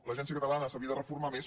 l’agència catalana s’havia de reformar més